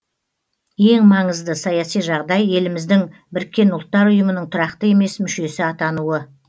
ең маңызды саяси жағдай еліміздің біріккен ұлттар ұйымының тұрақты емес мүшесі атануы